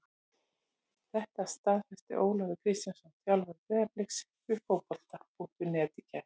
Þetta staðfesti Ólafur Kristjánsson þjálfari Breiðabliks við Fótbolta.net í gær.